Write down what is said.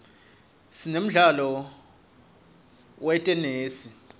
sinemdlalo wetenesi